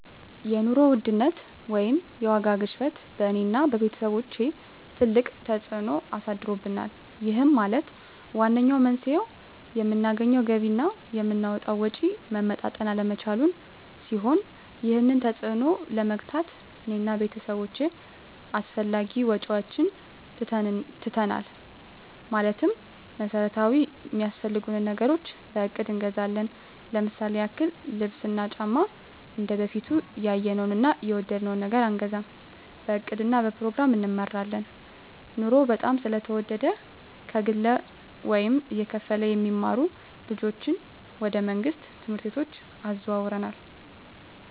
የኑሮ ውድነት ወይም የዋጋ ግሽበት በእኔ እና በቤተሰቦቸ ትልቅ ተፅእኖ አሳድሮብናል ይህም ማለት ዋነኛው መንስኤው የምናገኘው ገቢ እና የምናወጣው ወጪ መመጣጠን አለመቻሉን ሲሆን ይህንን ተፅዕኖ ለመግታት እኔ እና ቤተሰቦቸ አላስፈላጊ ወጪዎችን ትተናል ማለትም መሠረታዊ ሚያስፈልጉንን ነገሮች በእቅድ እንገዛለን ለምሳሌ ያክል ልብስ እና ጫማ እንደበፊቱ ያየነውን እና የወደድነውን ነገር አንገዛም በእቅድ እና በፕሮግራም እንመራለን ኑሮው በጣም ስለተወደደ ከግለ ወይም እየተከፈለ የሚማሩ ልጆችን ወደ መንግሥት ትምህርት ቤቶች አዘዋውረናል